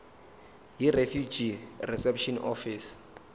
yirefugee reception office